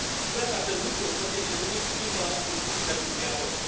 Sper ca acest lucru să fie menținut și după discuțiile din trialog.